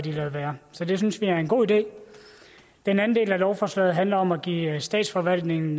ladet være så det synes vi er en god idé den anden del af lovforslaget handler om at give statsforvaltningen